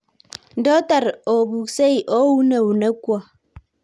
ndoo taran opukisei ooun eunekwok